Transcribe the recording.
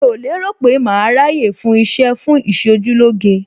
Mi ò lérò pé màá ráyè fún iṣẹ́ fún Ìṣojúlóge.